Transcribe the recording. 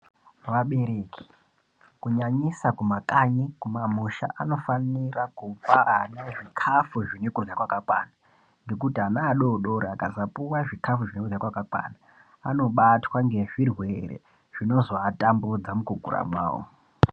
Vabereki, kunyanisa kumakanyi-kumamusha anofanira kupa ana zvikafu zvine kurya kwakakwana ngekuti ana adori dori akasapuwa zvikafu zvine kurya kwakakwana, anobatwa ngezvirwere zvinozoatambudza mukukura kwawo.